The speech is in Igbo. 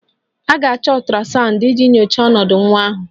A ga-achọ ultrasound iji nyochaa ọnọdụ nwa ahụ